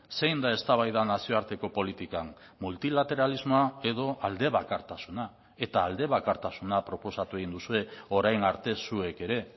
zein da eztabaida nazioarteko politikan multilateralismoa edo aldebakartasuna eta aldebakartasuna proposatu egin duzue orain arte zuek ere